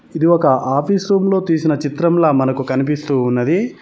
ఇది ఒక office room లో తీసిన చిత్రంల మనకు కనిపిస్తూ ఉన్నది.